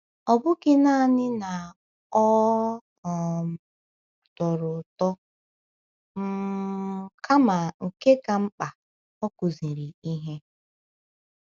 Ọ bụghị nanị na ọ um tọrọ ụtọ, um kama nke ka mkpa, ọ kụziri ihe.